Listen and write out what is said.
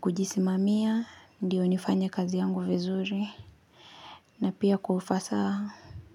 kujisimamia, ndio nifanye kazi yangu vizuri na pia kwa ufasaha.